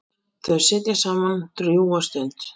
Þau sitja saman drjúga stund.